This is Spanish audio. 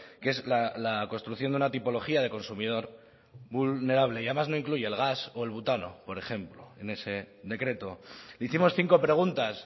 que es la construcción de una tipología de consumidor vulnerable y además no incluye el gas o el butano por ejemplo en ese decreto hicimos cinco preguntas